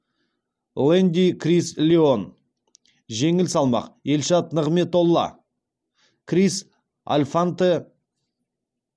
лэнди крис леон жеңіл салмақ елшат нығметолла крис альфанте